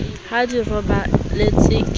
ha di robaletse ke o